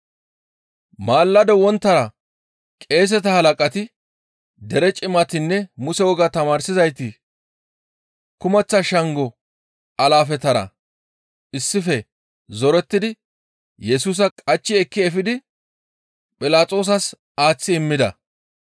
Maalado wonttara qeeseta halaqati, dere cimatinne Muse wogaa tamaarsizayti kumeththa shango alaafetara issife zorettidi Yesusa qachchi ekki efidi Philaxoosas aaththi immida.